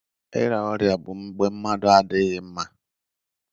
Ira Ọrịa bụ mgbe mmadu adịghị mma.